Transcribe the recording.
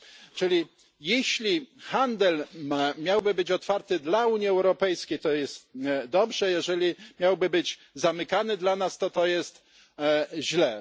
Czyli jeśli handel miałby być otwarty dla Unii Europejskiej to jest dobrze, jeżeli miałby być zamykany dla nas to to jest źle.